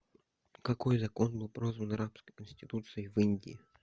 какой закон был прозван рабской конституцией в индии